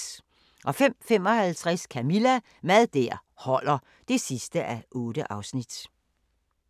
05:55: Camilla – Mad der holder (8:8)